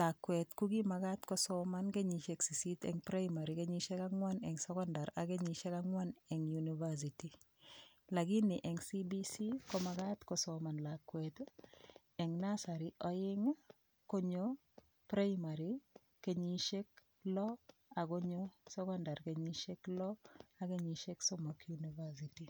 lakwet kokimakat kosoman kenyishek sisit eng' primary kenyishek ang'wan eng' sokondar ak kenyishek ang'wan eng' university lakini eng' CBC komakat kosoman lakwet eng nasari oeng' konyo primary kenyishek loo akonyo sokondar kenyishek loo ak kenyishek somok university